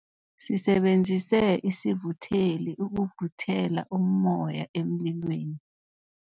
Sisebenzise isivutheli ukuvuthela ummoya emlilweni.